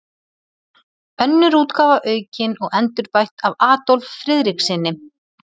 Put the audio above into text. Önnur útgáfa aukin og endurbætt af Adolf Friðrikssyni.